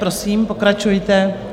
Prosím, pokračujte.